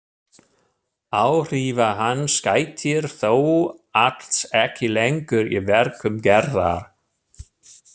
Áhrifa hans gætir þó alls ekki lengur í verkum Gerðar.